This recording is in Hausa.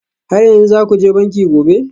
Har yanzu za ku je banki gobe?